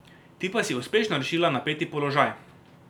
Ti pa si uspešno rešila napeti položaj.